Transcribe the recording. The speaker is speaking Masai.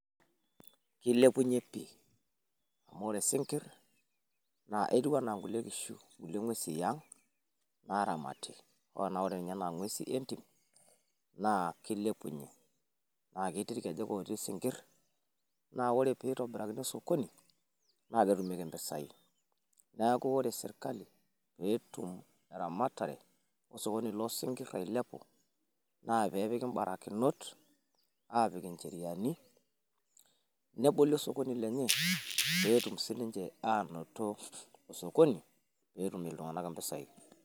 Kilepunyie pii amu ore isinkirr naa etiu enaa kulie kishu, kulie ng'uesi e ang' naaramati hoo naa ore ena kulie ng'uesi entim naa kilepunyie, naa ketii irkejak ootii isinkirr naa ore pii itobirakino osokoni naa ketumieki impisai, neeku ore sirkali peetum eramatare osokoni loo sinkirr ailepu naa pee epiki imbarakinot aapik incheriani neboli osokoni lenye pee etum sininche aanoto osokoni pee etum iltung'anak impisai.